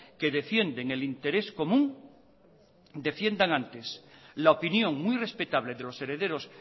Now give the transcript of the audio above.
que defienden el interés común defiendan antes la opinión muy respetable de los herederos